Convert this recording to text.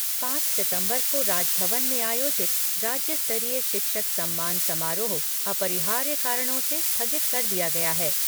पांच सितंबर को राजभवन में आयोजित राज्य स्तरीय शिक्षक सम्मान समारोह अपरिहार्य कारणों से स्थगित कर दिया गया है।